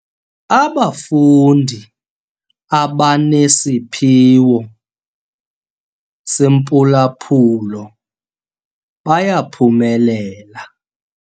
Abafundi abanesiphiwo sempulaphulo bayaphumelela.